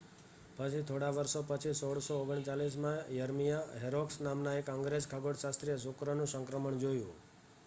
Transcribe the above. પછી થોડાં વર્ષો પછી 1639 માં યર્મિયા હોરોક્સ નામનાં એક અંગ્રેજ ખગોળશાસ્ત્રીએ શુક્રનું સંક્રમણ જોયું